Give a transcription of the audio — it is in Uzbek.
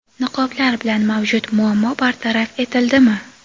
Niqoblar bilan mavjud muammo bartaraf etildimi?.